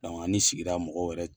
Dɔnɔke ani sigira mɔgɔw yɛrɛ